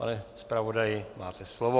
Pane zpravodaji, máte slovo.